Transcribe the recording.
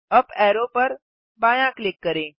UP arrow पर बायाँ click करें